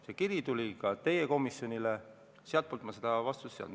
See kiri tuli ka teie komisjonile, sealt ma vastust ei saanud.